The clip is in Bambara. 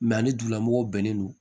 ani dugulamɔgɔw bɛnnen don